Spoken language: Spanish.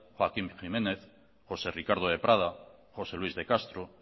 joaquín jiménez josé ricardo de prada josé luis de castro